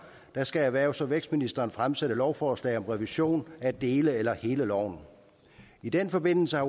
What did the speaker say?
skal erhvervs og vækstministeren fremsætte lovforslag om revision af dele af eller hele loven i den forbindelse har